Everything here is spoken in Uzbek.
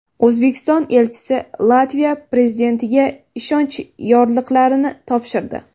O‘zbekiston elchisi Latviya prezidentiga ishonch yorliqlarini topshirdi.